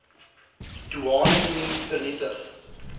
doeane unie vernietig